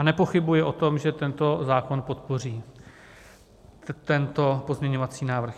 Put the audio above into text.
A nepochybuji o tom, že tento zákon podpoří, tento pozměňovací návrh.